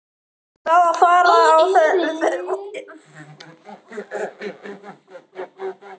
Það á að fara að vinna í þessari lóð.